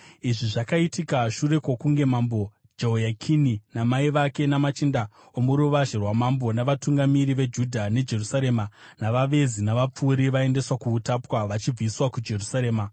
(Izvi zvakaitika shure kwokunge Mambo Jehoyakini namai vake, namachinda omuruvazhe rwamambo, navatungamiri veJudha neJerusarema, navavezi, navapfuri, vaendeswa kuutapwa vachibviswa kuJerusarema.)